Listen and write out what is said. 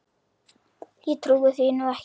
Ég trúi því nú ekki.